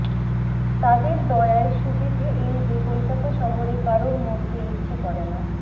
তাদের দয়ায় সুবিধে এই যে কলকাতা শহরে কারোর মরতে ইচ্ছে করেনা